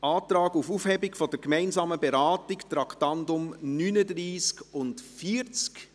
auf Aufhebung der gemeinsamen Beratung der Traktanden 39 und 40.